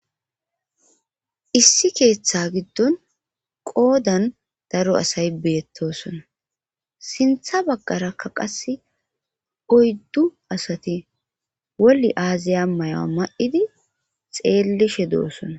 Issi keeththa giddon qoodan daro asay beettosona sintha baggarakka qas oyddu asati wolli aaziya amayoa ma7idi xeellishe doosona